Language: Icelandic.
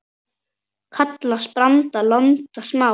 Kallast branda lonta smá.